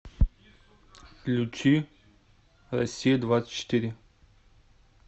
включи россия двадцать четыре